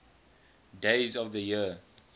days of the year